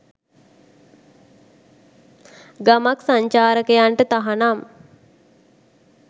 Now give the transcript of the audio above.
ගමක් සංචාරකයන්ට තහනම්